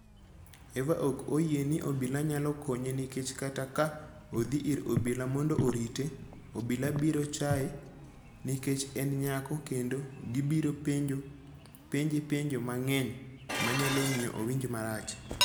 Eva ok oyie ni obila nyalo konye nikech kata ka odhi ir obila mondo orite, obila biro chaye nikech en nyako kendo gibiro penje penjo mang'eny manyalo miyo owinj marach.